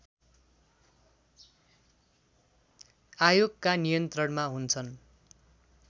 आयोगका नियन्त्रणमा हुन्छन्